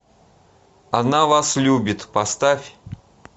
она вас любит поставь